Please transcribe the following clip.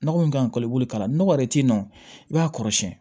Nɔgɔ min kan ka i bolo k'a lakɔ yɛrɛ t'i nɔ i b'a kɔrɔ siyɛn